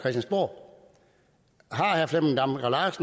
herre flemming damgaard